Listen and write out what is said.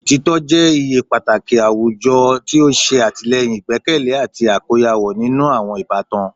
Otitọ jẹ iye pataki awujọ ti o ṣe atilẹyin igbẹkẹle ati akoyawo ninu awọn ibatan